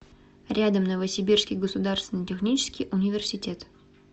рядом новосибирский государственный технический университет